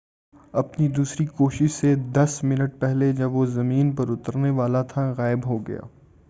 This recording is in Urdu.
اپنی دوسری کوشش سے دس منٹ پہلے جب وہ زمین پر اترنے والا تھا غائب ہو گیا